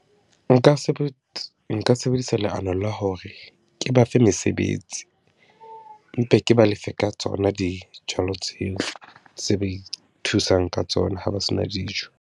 Nka nka sebedisa leano la hore ke ba fe mesebetsi, mpe ke ba lefe ka tsona dijalo tseo, tse ba ithusang ka tsona ha ba se na dijo.